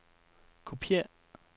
kopiér